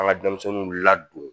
An ka denmisɛnninw ladon